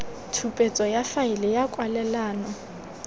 tshupetso ya faele ya kwalelano